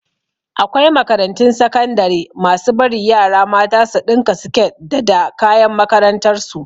Akwai makarantun sakandare masu bari yara mata su ɗinka siket da da kayan makarantar su